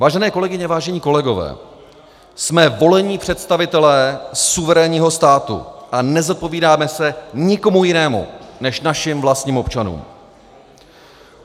Vážené kolegyně, vážení kolegové, jsme volení představitelé suverénního státu a nezodpovídáme se nikomu jinému než našim vlastním občanům.